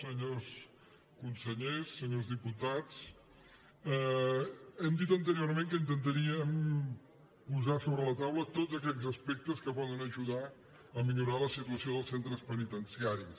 senyors consellers senyors diputats hem dit anteriorment que intentaríem posar sobre la taula tots aquells aspectes que poden ajudar a millorar la situació dels centres penitenciaris